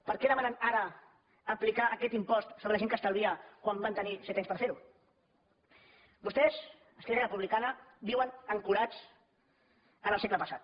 per què demanen ara aplicar aquest impost sobre la gent que estalvia quan van tenir set anys per fer ho vostès esquerra republicana viuen ancorats en el segle passat